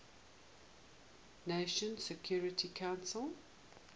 nations security council